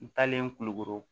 N taalen kulukoro